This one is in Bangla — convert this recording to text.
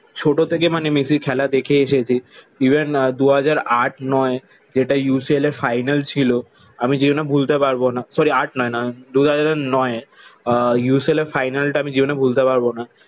ছোট থেকে মানে মেসির খেলা দেখে এসেছি। ইভেন আহ দু হাজার আট নয় যেটা UCL এর ফাইনাল ছিল আমি জীবনে ভুলতে পারবো না সরি আট নয় না দু হাজার নয় আহ UCL এর ফাইনালটা আমি জীবনে ভুলতে পারবো না।